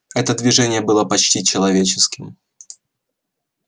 это движение было почти человеческим